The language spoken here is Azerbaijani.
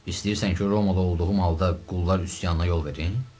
İstəyirsən ki, Romada olduğum halda qullar üsyana yol verim?